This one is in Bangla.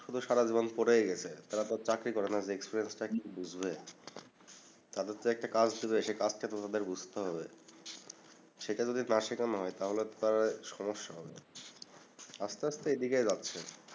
শুধু সারাজীবন পড়েই গেসে তারা তো আর চাকরি করেনাই যে টা কি বুজবে তাদের তো একটা কাজ শুরু হইসে কাজটা তো তাদের বুজতে হবে সেটা যদি না শিখনো হয় তাহলে তো তারার সমস্যা হবে আস্তে আস্তে এদিকেই যাচ্ছে